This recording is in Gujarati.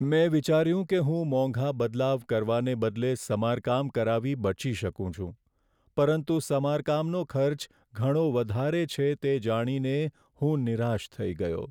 મેં વિચાર્યું કે હું મોંઘા બદલાવ કરવાને બદલે સમારકામ કરાવી બચી શકું છું, પરંતુ સમારકામનો ખર્ચ ઘણો વધારે છે, તે જાણીને હું નિરાશ થઈ ગયો.